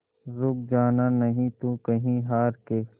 रुक जाना नहीं तू कहीं हार के